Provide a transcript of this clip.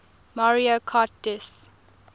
mario kart ds